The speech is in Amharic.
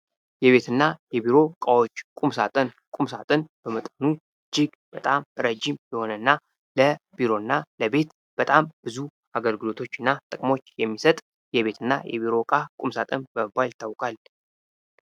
የቤትና የቢሮ እቃዎች ቁምሳጥን ቁምሳጥን በመጠኑ እጅግ በጣም ረጅም የሆነና ለቢሮና ለቤት በጣም ብዙ አገልግሎቶች እና ጥቅሞች የሚሰጥ የቤትና የቢሮ ዕቃ ቁምሳጥን በመባል ይታወቃል።